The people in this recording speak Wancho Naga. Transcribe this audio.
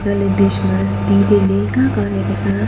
elah ley bich ma ti tai ley kaka ley kasa a.